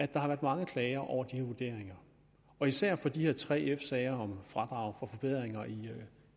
der har været mange klager over de her vurderinger og især for de her tre f sager om fradrag for forbedringer i